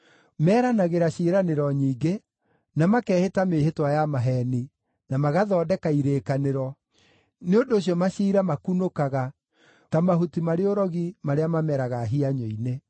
Meranagĩra ciĩranĩro nyingĩ, na makehĩta mĩĩhĩtwa ya maheeni, na magathondeka irĩkanĩro; nĩ ũndũ ũcio maciira makunũkaga ta mahuti marĩ ũrogi marĩa mameraga hianyũ-inĩ.